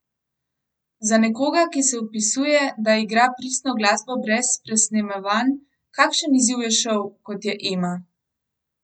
Za nekoga, ki se opisuje, da igra pristno glasbo brez presnemavanj, kakšen izziv je šov, kot je Ema?